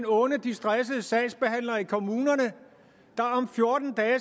unde de stressede sagsbehandlere i kommunerne der om fjorten dage